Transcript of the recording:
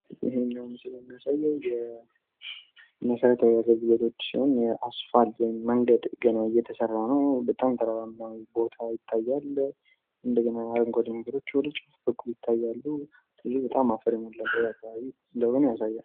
ይህኛዉ ምስል የሚያሳየው የመሰረታዊ አገልግሎቶችን የአስፋልት ወይም መንገድ ገና እየተሰራ ነው ፤ በጣም ተራራማ ቦታ ይታያል፣ እንደገና አረንጓዴ ነገሮች ወደጫፍ በኩል ይታያሉ፣ ስለዚህ በጣም አፈር የተሞላበት አከባቢ እንደሆነ ያሳያል።